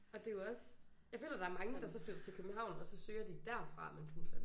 Og det jo også jeg føler der er mange der så flytter til København og så søger de derfra men sådan